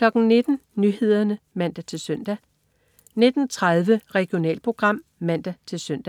19.00 Nyhederne (man-søn) 19.30 Regionalprogram (man-søn)